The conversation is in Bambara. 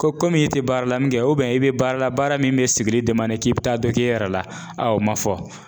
Ko komi e te baara la min kɛ o bɛn e be baara la baara min be sigili demande k'i be taa dɔ k'i yɛrɛ la a ma fɔ